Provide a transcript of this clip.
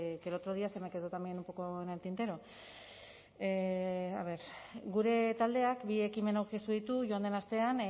que el otro día se me quedó también un poco en el tintero gure taldeak bi ekimen aurkeztu ditu joan den astean